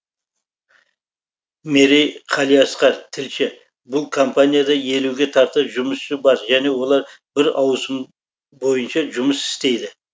мерей қалиасқар тілші бұл компанияда елуге тарта жұмысшы бар және олар бір ауысым бойынша жұмыс істейді